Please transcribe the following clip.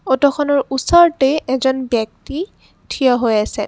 অটোখনৰ ওচৰতেই এজন ব্যক্তি থিয় হৈ আছে।